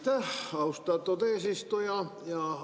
Aitäh, austatud eesistuja!